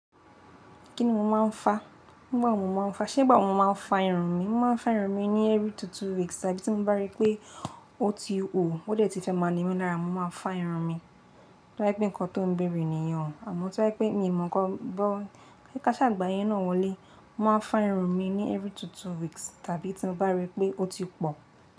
Kí ni mo máa ń fá? Nígbà wo mo máa ń fá? Ṣé nígbà wo mo máa ń fá irun mi? Mo máa ń fá irun mi ní every two two weeks tàbí tí mo bá rí pé ó ti hò ó dẹ̀ ti fẹ́ máa ni mí lára mo máa fá irun mi. Tóbá jépé nǹkan tó ń bèèrè nìyen, àmọ́ tóbá pé mi ò mọ̀ nkan, káṣà gbà'yẹn náà wọlé, mo máa ń fá irun mi ní every two two weeks tàbí tí mo bá rí pé ó ti pọ̀